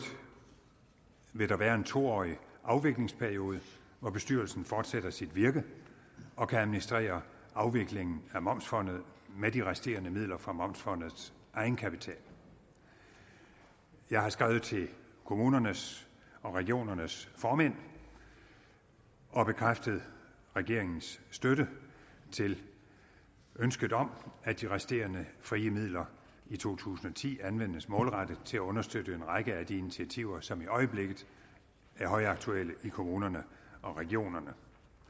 vil der være en to årig afviklingsperiode og bestyrelsen fortsætter sit virke og kan administrere afviklingen af momsfondet med de resterende midler fra momsfondets egenkapital jeg har skrevet til kommunernes og regionernes formænd og bekræftet regeringens støtte til ønsket om at de resterende frie midler i to tusind og ti anvendes målrettet til at understøtte en række af de initiativer som i øjeblikket er højaktuelle i kommunerne og regionerne